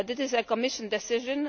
This is a Commission decision.